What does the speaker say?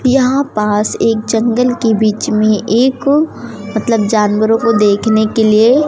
यहां पास एक जंगल के बीच में एक मतलब एक जानवरों को देखने के लिए--